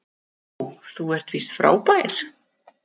Ó þú ert víst frábær